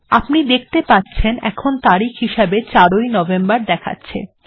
আপনি দেখতে পাচ্ছেন এখানে তারিখ হিসাবে ৪ ঐ নভেম্বর দেখাচ্ছে